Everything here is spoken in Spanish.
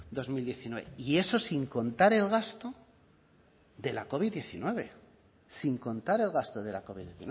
dos mil diecinueve y eso sin contar el gasto de la covid diecinueve sin contar el gasto de la covid